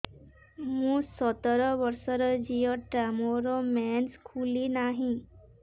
ମୁ ସତର ବର୍ଷର ଝିଅ ଟା ମୋର ମେନ୍ସେସ ଖୁଲି ନାହିଁ